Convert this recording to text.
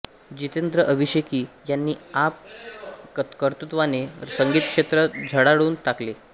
जितेंद्र अभिषेकी यांनी आप कर्तृत्वाने संगीतक्षेत्र झळाळून टाकले